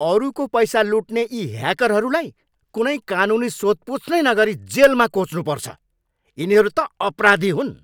अरूको पैसा लुट्ने यी ह्याकरहरूलाई कुनै कानुनी सोधपुछ नै नगरी जेलमा कोच्नुपर्छ। यिनीहरू त अपराधी हुन्!